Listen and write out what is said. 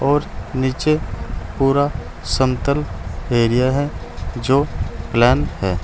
और नीचे पूरा समतल एरिया है जो प्लेन है।